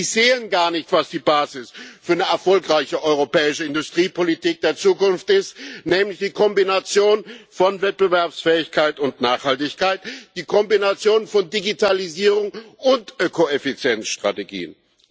Sie sehen gar nicht, was die Basis für eine erfolgreiche europäische Industriepolitik der Zukunft ist, nämlich die Kombination von Wettbewerbsfähigkeit und Nachhaltigkeit, die Kombination von Digitalisierung und Ökoeffizienzstrategien.